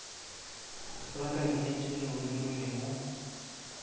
la kabinete leo le rwelego